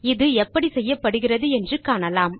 இது எப்படி செய்யப்படுகிறது என்று பார்க்கலாம்